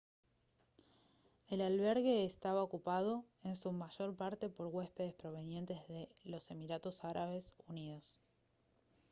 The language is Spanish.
el albergue eestaba ocupado en su mayor parte por huéspedes provenientes de los emiratos árabes unidos